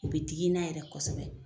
O be digi n na yɛrɛ kosɛbɛ